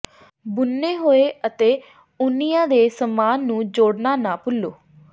ਬੁਣੇ ਹੋਏ ਅਤੇ ਉਣਿਆਂ ਦੇ ਸਮਾਨ ਨੂੰ ਜੋੜਨਾ ਨਾ ਭੁੱਲੋ